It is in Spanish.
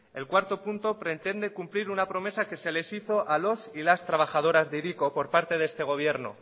el punto cuatro pretende cumplir una promesa como la que se les hizo a los y las trabajadoras de hiriko por parte de este gobierno